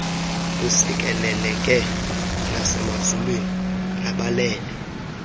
usikeleleke nasemazulwini nabalele